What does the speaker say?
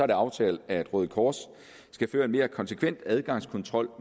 det aftalt at røde kors skal føre en mere konsekvent adgangskontrol